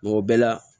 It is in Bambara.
o bɛɛ la